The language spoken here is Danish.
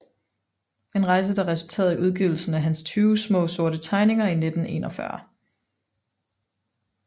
En rejse der resulterede i udgivelsen af hans 20 Smaa sorte Tegninger i 1941